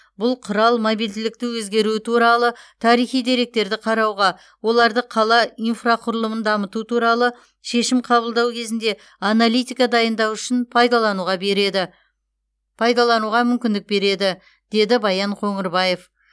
бұл құрал мобильділікті өзгеруі туралы тарихи деректерді қарауға оларды қала инфрақұрылымын дамыту туралы шешім қабылдау кезінде аналитика дайындау үшін пайдалануға береді пайдалануға мүмкіндік береді деді баян қоңырбаев